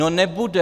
No nebude.